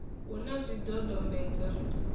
hu na zwidodombedzwa zwiṱuku ṱuku